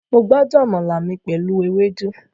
Mo gbádùn àmàlà mi pẹ̀lú ewédú